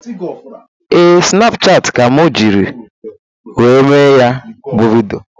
Ee, Snapchati ka mụ jiri wee mee ya bụ vidịo